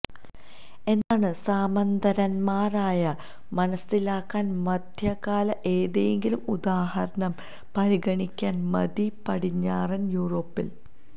എന്താണ് സാമന്തന്മാരായ മനസ്സിലാക്കാൻ മധ്യകാല ഏതെങ്കിലും ഉദാഹരണം പരിഗണിക്കാൻ മതി പടിഞ്ഞാറൻ യൂറോപ്പിൽ